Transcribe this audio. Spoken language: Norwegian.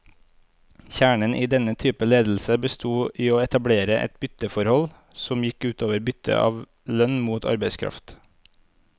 Kjernen i denne typen ledelse bestod i å etablere et bytteforhold, som gikk ut over byttet av lønn mot arbeidskraft.